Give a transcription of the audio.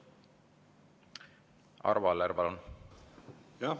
Arvo Aller, palun!